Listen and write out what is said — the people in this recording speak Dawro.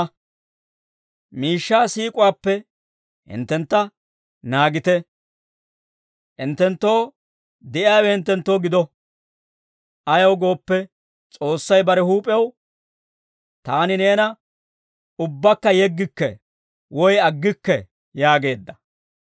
Miishshaa siik'uwaappe hinttentta naagite; hinttenttoo de'iyaawe hinttenttoo gido. Ayaw gooppe, S'oossay bare huup'ew, «Taani neena ubbaakka yeggikke woy aggikke» yaageedda.